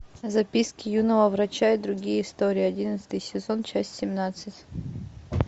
записки юного врача и другие истории одиннадцатый сезон часть семнадцать